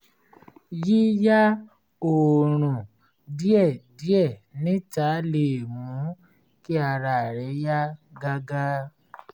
yíyá oòrun díẹ̀díẹ̀ níta lè mú kí ara rẹ yá gágá